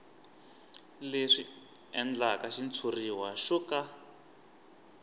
leswi endlaka xitshuriwa xo ka